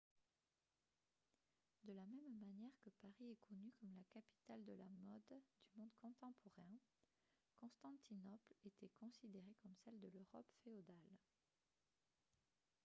de la même manière que paris est connue comme la capitale de la mode du monde contemporain constantinople était considérée comme celle de l'europe féodale